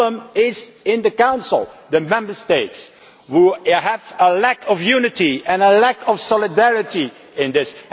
The problem is in the Council the Member States which have a lack of unity and a lack of solidarity in this.